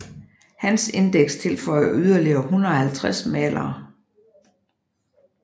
Hans indeks tilføjer yderligere 150 malere